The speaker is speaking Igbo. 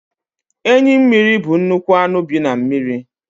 Enyi mmiri bụ nnukwu anụ bi na mmiri.